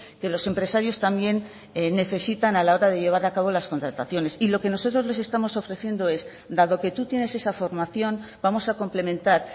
que los empresarios también necesitan a la hora de llevar acabo las contrataciones y lo que nosotros les estamos ofreciendo es dado que tú tienes esa formación vamos a complementar